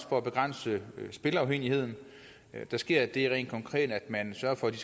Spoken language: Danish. for at begrænse spilleafhængigheden der sker det rent konkret at man sørger for at de